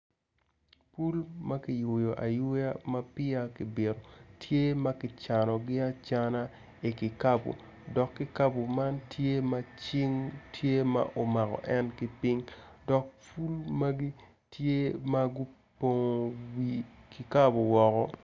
Pul makiyweo ayweya mapeya kibito tye maki canogi acana i kikabo dok kikabo man tye macing tye ma omako en kipiny dok pul magi tye magu pongo wi kikabo woko.